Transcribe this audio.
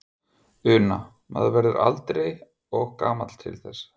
Una: Maður verður aldrei og gamall til þess?